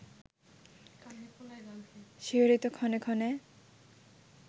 শিহরিত ক্ষণে ক্ষণে